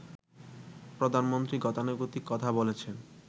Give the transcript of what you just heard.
প্রধানমন্ত্রী গতানুগতিক কথা বলেছেন